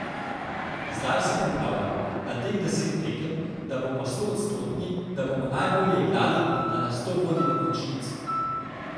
Zdaj se pripravljamo na teh deset tekem, da bomo stoodstotni, da bomo najbolje igrali in da nas to vodi v končnico.